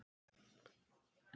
Ég þekki ekkert af þessu.